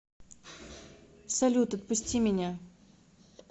салют отпусти меня